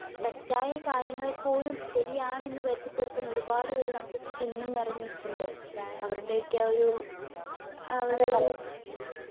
തെറ്റായ കാര്യങ്ങളെ പോലും ശരിയാണെന്നു വരുത്തിത്തീർക്കുന്ന ഒരുപാട് പേര് നമുക്ക് ചുറ്റും ഇന്നും നിരന്നു നിപ്പോണ്ട്. അവരുടെയൊക്കെ ആ ഒരു അതൊരു